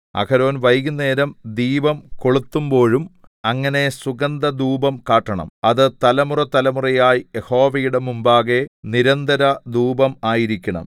അഹരോൻ വൈകുന്നേരം ദീപം കൊളുത്തുമ്പോഴും അങ്ങനെ സുഗന്ധധൂപം കാട്ടണം അത് തലമുറതലമുറയായി യഹോവയുടെ മുമ്പാകെ നിരന്തരധൂപം ആയിരിക്കണം